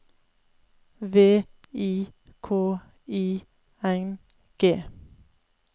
V I K I N G